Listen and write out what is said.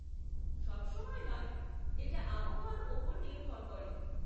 সবসময় নয়, এটা আবহাওয়ার ওপরে নির্ভর করে।